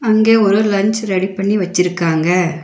அங்கே ஒரு lunch ready பண்ணி வச்சிருக்காங்க.